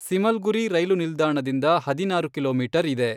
ಸಿಮಲ್ಗುರಿ ರೈಲು ನಿಲ್ದಾಣದಿಂದ ಹದಿನಾರು ಕಿಲೋಮೀಟರ್ ಇದೆ.